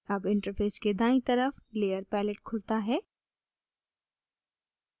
अब interface के दायीं तरफ layer palette खुलता है